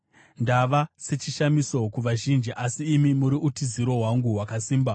Ndava sechishamiso kuvazhinji, asi imi muri utiziro hwangu hwakasimba.